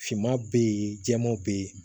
Finman bɛ yen jɛman bɛ yen